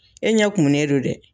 E ɲɛ kumunɛ don dɛ.